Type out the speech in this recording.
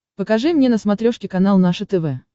покажи мне на смотрешке канал наше тв